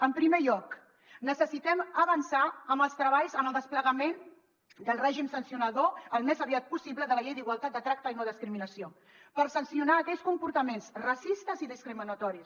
en primer lloc necessitem avançar en els treballs en el desplegament del règim sancionador al més aviat possible de la llei d’igualtat de tracte i no discriminació per sancionar aquells comportaments racistes i discriminatoris